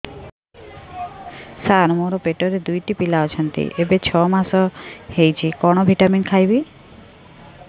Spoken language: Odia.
ସାର ମୋର ପେଟରେ ଦୁଇଟି ପିଲା ଅଛନ୍ତି ଏବେ ଛଅ ମାସ ହେଇଛି କଣ ଭିଟାମିନ ଖାଇବି